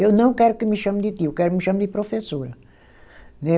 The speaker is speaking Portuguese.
Eu não quero que me chame de tio, eu quero que me chame de professora. Né